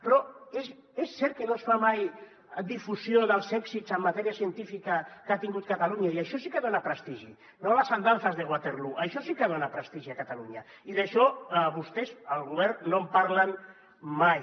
però és cert que no es fa mai difusió dels èxits en matèria científica que ha tingut catalunya i això sí que dona prestigi no las andanzas de waterloo això sí que dona prestigi a catalunya i d’això vostès el govern no en parla mai